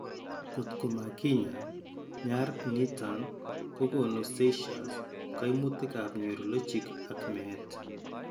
Kotko makinyaay, nyar niiton kokoonu seizures, kaimutikap neurologic ak meet.